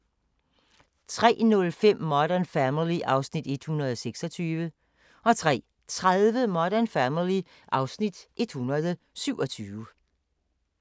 03:05: Modern Family (Afs. 126) 03:30: Modern Family (Afs. 127)